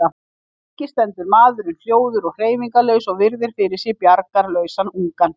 Lengi stendur maðurinn hljóður og hreyfingarlaus og virðir fyrir sér bjargarlausan ungann.